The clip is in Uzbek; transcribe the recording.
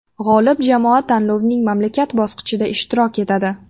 G‘olib jamoa tanlovning mamlakat bosqichida ishtirok etadi.